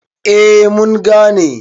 A mun gane